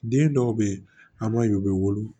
Den dɔw bɛ yen an b'a ye u bɛ wolo